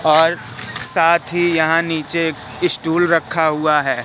और साथ ही यहां नीचे एक स्टूल रखा हुआ है।